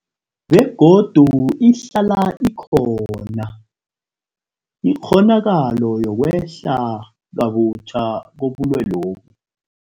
Begodu ihlala ikhona ikghonakalo yokwehla kabutjha kobulwelobu.